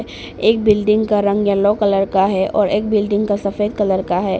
एक बिल्डिंग का रंग येलो कलर का है और एक बिल्डिंग का सफेद कलर का है।